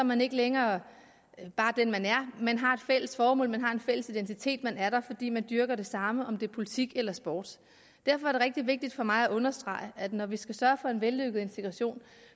man ikke længere bare den man er men man har et fælles formål man har en fælles identitet man er der fordi man dyrker det samme om det politik eller sport derfor er det rigtig vigtigt for mig at understrege at når vi skal sørge for en vellykket integration